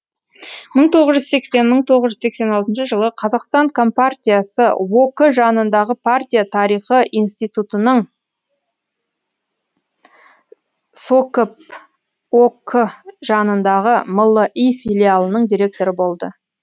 мың тоғыз жүз сексен мың тоғыз жүз сексен алтыншы жылы қазақстан компартиясы ок жанындағы партия тарихы институтынының сокп ок жанындағы мли филиалының директоры болды